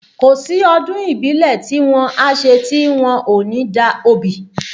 Kò sí ọdún ìbílẹ̀ tí wọ́n á ṣe tí wọ́n ò ní da obì